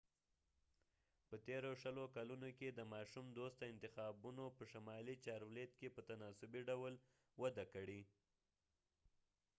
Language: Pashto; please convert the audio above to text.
په تیرو شلو کلونو کې د ماشوم دوسته انتخابونو په شمالي چارولیت کې په تناسبي ډول وده کړې